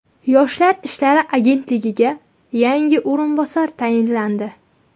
Yoshlar ishlari agentligiga yangi o‘rinbosar tayinlandi.